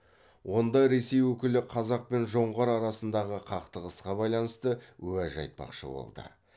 онда ресей өкілі қазақ пен жоңғар арасындағы қақтығысқа байланысты уәж айтпақшы болды